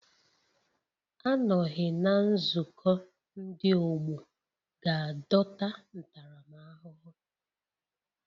Anọghị na nzukọ ndị ọgbọ ga-adọta ntaramahụhụ